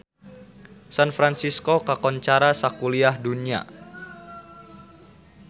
San Fransisco kakoncara sakuliah dunya